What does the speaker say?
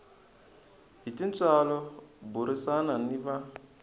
hi tintswalo burisana ni va